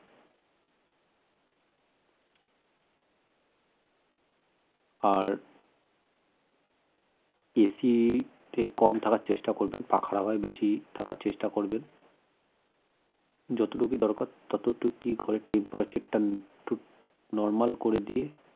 আর AC তে কম থাকার চেষ্টা করবেন পাখার হাওয়ায় বেশি থাকার চেষ্টা করবেন যতটুকু দরকার ততটুকি ঘরের temperature টা normal করে দিয়ে